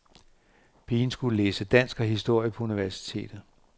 Pigen skulle læse dansk og historie på universitetet.